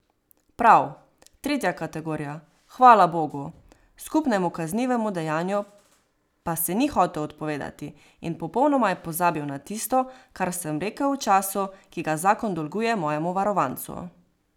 Prav, tretja kategorija, hvala bogu, skupnemu kaznivemu dejanju pa se ni hotel odpovedati, in popolnoma je pozabil na tisto, kar sem rekel o času, ki ga zakon dolguje mojemu varovancu.